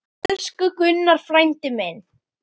Elsku Gummi frændi minn.